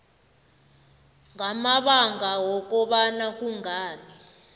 ngamabanga wokobana kungani